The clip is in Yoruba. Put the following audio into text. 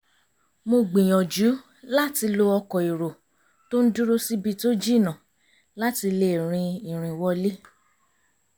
mo gbìyànjú láti lo ọkọ̀ èrò tó ń dúró síbi tó jìnnà láti lè rin ìrìn wọlé